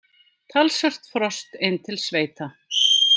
Talsvert frost inn til sveita